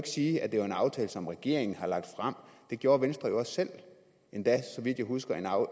sige at det var en aftale som regeringen har lagt frem det gjorde venstre jo også selv endda så vidt jeg husker